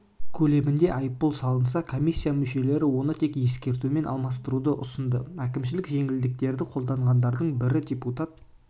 көлемінде айыппұл салынса комиссия мүшелері оны тек ескертумен алмастыруды ұсынды әкімшілік жеңілдіктерді қолдағандардың бірі депутат